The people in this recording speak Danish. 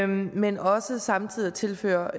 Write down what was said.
men også samtidig at tilføre